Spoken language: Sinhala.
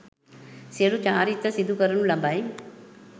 සියලු චාරිත්‍ර සිදු කරනු ලබයි